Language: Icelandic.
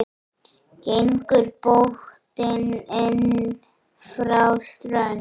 Gengur bótin inn frá strönd.